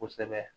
Kosɛbɛ